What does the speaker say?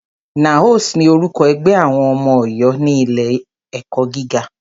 NAOS ni orúkọ ẹgbẹ́ àwọn ọmọ Ọ̀yọ́ ní ilé ẹ̀kọ́ gíga.